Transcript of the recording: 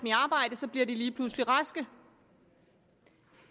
så bliver de lige pludselig raske